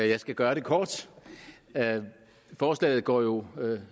jeg skal gøre det kort forslaget går jo ud